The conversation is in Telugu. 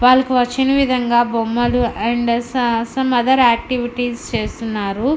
వాళ్లకు వచ్చిన విధంగా బొమ్మలు అండ్ స సం అదర్ ఆక్టివిటీస్ చేస్తున్నారు.